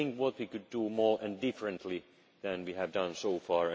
Let us think what we could do more and differently than we have done so